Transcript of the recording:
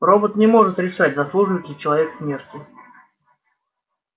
робот не может решать заслуживает ли человек смерти